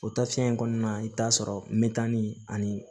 O tafiyɛn in kɔnɔna na i bɛ taa'a sɔrɔ metani ani